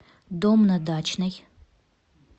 дом на дачной